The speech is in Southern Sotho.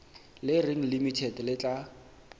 le reng limited le tla